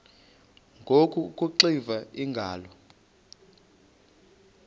ngoku akuxiva iingalo